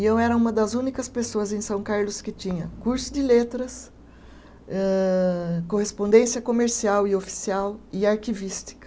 E eu era uma das únicas pessoas em São Carlos que tinha curso de letras, âh correspondência comercial e oficial e arquivística.